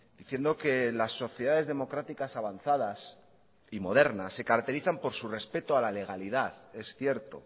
diciendo que las sociedades democráticas avanzadas y modernas se caracterizan por su respeto a la legalidad es cierto